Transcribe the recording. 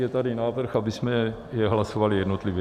Je tady návrh, abychom je hlasovali jednotlivě.